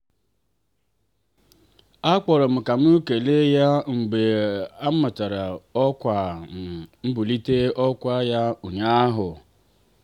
akpọrọ m ka m kelee ya mgbe a mara ọkwa um mbulite ọkwa ya ụnyaahụ.